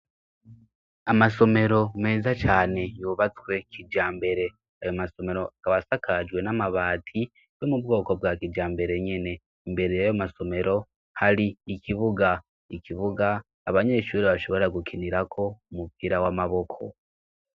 Amasomero meza cane yubatswe kijambere ayo masomero akaba asakajwe n'amabati yo mu bwoko bwa kijambere nyene. Imbere yayo masomero hari ikibuga, ikibuga abanyeshuri bashobora gukinirako umupira w'amaboko.